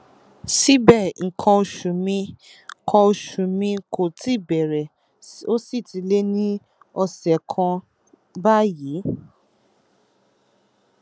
síbẹ nǹkan oṣù mi kò oṣù mi kò tíì bẹrẹ ó sì ti lé ní ọsẹ kan báyìí